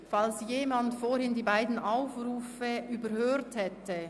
Falls jemand vorhin die beiden Aufrufe überhört hat: